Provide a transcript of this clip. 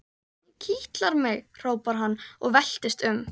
Hún kitlar mig! hrópar hann og veltist um.